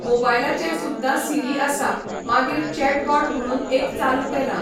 मोबायलाचेर सुद्दां सिरी आसा, मागीर चॅटबॉट म्हणून एक चालू केलां.